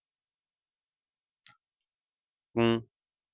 ਹਮ